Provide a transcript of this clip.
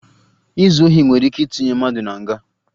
Izu ohi nwere ike itinye mmadụ na nga